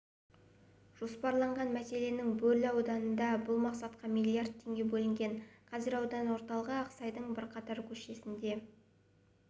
жоспарланған мәселен бөрлі ауданында бұл мақсатқа миллиард теңге бөлінген қазір аудан орталығы ақсайдың бірқатар көшесінде